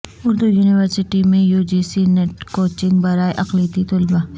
Urdu university میں UGC NET coaching برائے اقلیتی طلبا